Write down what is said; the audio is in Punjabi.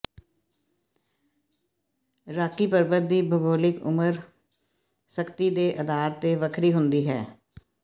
ਰਾਕੀ ਪਰਬਤ ਦੀ ਭੂਗੋਲਿਕ ਉਮਰ ਸਥਿਤੀ ਦੇ ਅਧਾਰ ਤੇ ਵੱਖਰੀ ਹੁੰਦੀ ਹੈ